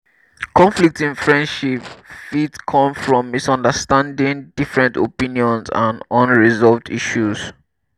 conflict in friendship fit come from misunderstanding different opinions and unresolved issues.